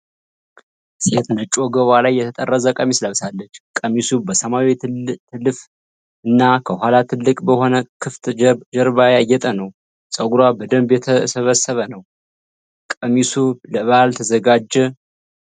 ሴት ነጭ፣ ወገቧ ላይ የተጠረዘ ቀሚስ ለብሳለች። ቀሚሱ በሰማያዊ ትልፍ እና ከኋላ ጥልቅ በሆነ ክፍት ጀርባ ያጌጠ ነው። ፀጉሯ በደንብ የተሰበሰበ ነው። ቀሚሱ ለበዓል ተዘጋጀ?